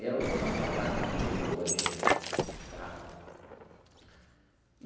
Eu não tenho essa carta comigo hoje tá.